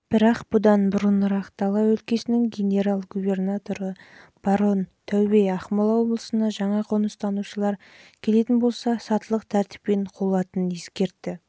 бірақ бұдан бұрынырақ дала өлкесінің генерал губернаторы барон таубе ақмола облысына жаңа қоныстанушылар келетін болса сатылық тәртіппен қуылатынын ескертті